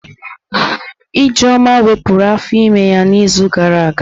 Ijeoma wepụrụ afọ ímé ya n'izu gara aga.